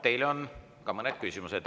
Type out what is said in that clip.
Teile on ka mõned küsimused.